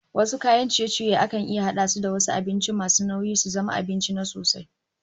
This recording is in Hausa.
Wasu kayan ciye-ciyen akan iya hada su da wasu abincin masu nauyi su zama abinci na sosai